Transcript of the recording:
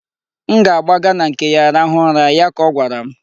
M ga-agbaga na nke ya rahụ ụra', ya ka ọ gwara m.